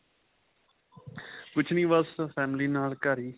ਕੁੱਛ ਨਹੀਂ ਬੱਸ family ਨਾਲ ਘਰ ਹੀ